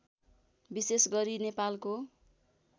विशेष गरी नेपालको